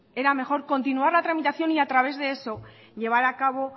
era mejor continuar la tramitación y a través de eso llevar a cabo